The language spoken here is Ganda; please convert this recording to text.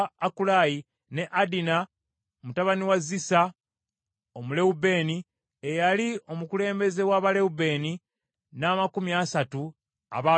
ne Adina mutabani wa Siza Omulewubeeni, eyali omukulembeze wa Balewubeeni, n’amakumi asatu abaabeeranga naye,